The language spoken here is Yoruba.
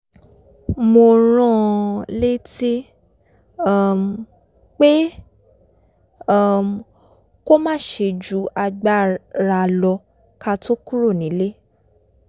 mo rán an létí um pé um kó má ṣe ju agbáralo̩ ká tó kúrò nílé